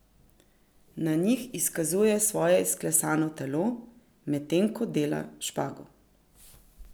Na njih izkazuje svoje izklesano telo, medtem ko dela špago.